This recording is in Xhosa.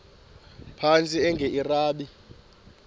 phantsi enge lrabi